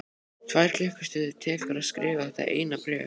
Tvær klukkustundir tekur að skrifa þetta eina bréf.